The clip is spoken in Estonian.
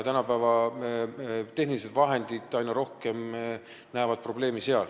Tänapäeva tehnilised vahendid tekitavad seal aina rohkem probleeme.